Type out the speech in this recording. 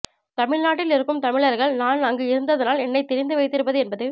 தமிழ்நாட்டில் இருக்கும் தமிழர்கள் நான் அங்கு இருந்ததனால் என்னைத் தெரிந்து வைத்திருப்பது என்பது